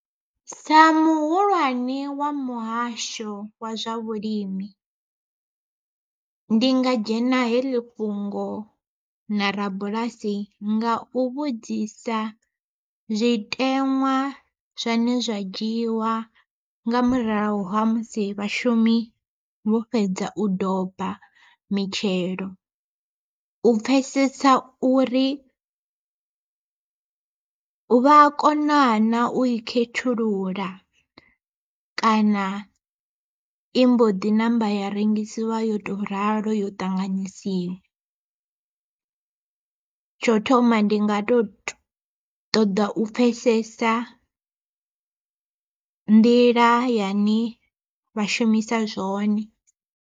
Sa muhulwane wa muhasho wa zwa vhulimi, ndi nga dzhena heḽi fhungo na rabulasi nga u vhudzisa zwiteṅwa zwane zwa dzhiwa nga murahu ha musi vhashumi vho fhedza u doba mitshelo, u pfhesesa uri vha a kona na u i khethulula kana i mbo ḓi ṋamba ya rengisiwa yo tou ralo yo ṱanganyisiwa. Tsho thoma ndi nga to ṱoḓa u pfhesesa nḓila yane vha shumisa zwone.